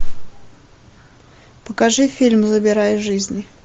покажи фильм забирая жизни